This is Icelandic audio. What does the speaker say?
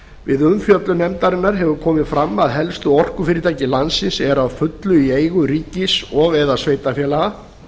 við umfjöllun nefndarinnar hefur komið fram að helstu orkufyrirtæki landsins eru að fullu í eigu ríkis og eða sveitarfélaga